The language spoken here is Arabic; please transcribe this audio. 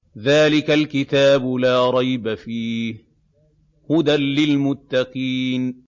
ذَٰلِكَ الْكِتَابُ لَا رَيْبَ ۛ فِيهِ ۛ هُدًى لِّلْمُتَّقِينَ